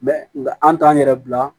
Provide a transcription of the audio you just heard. nka an t'an yɛrɛ bila